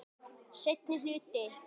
Seinni hluti.